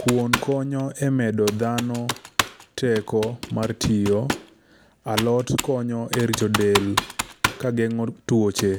Kuon ko nyo emedo dhano teko mar tiyo. A lot konyo e rito del kageng'o tuoche.